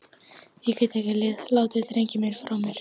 Ég get ekki látið drenginn minn frá mér!